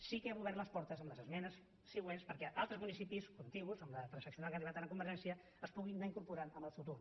sí que hem obert les portes amb les esmenes següents perquè altres municipis contigus amb la transaccional a què hem arribat ara amb convergència s’hi puguin anar incorporant en el futur